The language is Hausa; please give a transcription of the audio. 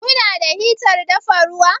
Ku na da hitar dafa ruwa?